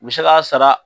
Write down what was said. U bɛ se k'a sara